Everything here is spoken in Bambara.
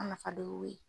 A nafa dɔ y'o ye